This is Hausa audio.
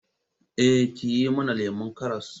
Eh, ki yi mana lemon karas